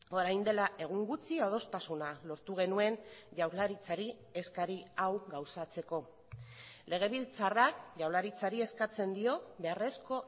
orain dela egun gutxi adostasuna lortu genuen jaurlaritzari eskari hau gauzatzeko legebiltzarrak jaurlaritzari eskatzen dio beharrezko